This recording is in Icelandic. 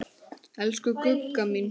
Elsku Gugga mín.